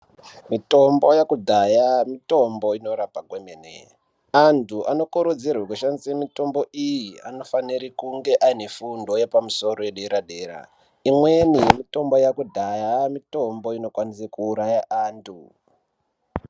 Mitombo yekudhaya mitombo inorapa kwemene. Antu anokurudzirwa kushandisa mitombo iyi anofanirwa kunge vane fundo yepadera-dera. Imweni mitombo yekudhaya yave mitombo inokwanisa kuuraya antu.